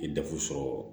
I ye dafu sɔrɔ